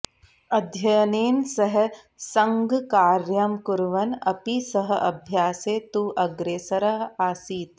अध्ययनेन सह सङ्घकार्यं कुर्वन् अपि सः अभ्यासे तु अग्रेसरः आसीत्